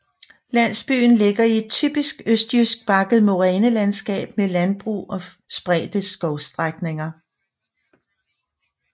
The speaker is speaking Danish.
Landsbyen ligger i et typisk østjysk bakket morænelandskab med landbrug og spredte skovstrækninger